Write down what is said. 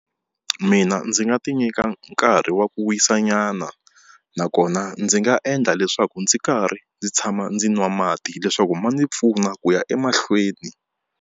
Mina ndzi nga tinyika nkarhi wa ku wisanyana nakona ndzi nga endla leswaku ndzi karhi ndzi tshama ndzi nwa mati leswaku ma ndzi pfuna ku ya emahlweni.